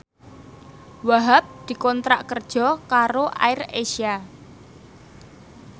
Wahhab dikontrak kerja karo AirAsia